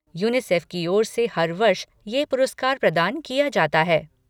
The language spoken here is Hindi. यूनिसेफ की ओर से हर वर्ष यह पुरस्कार प्रदान किया जाता है।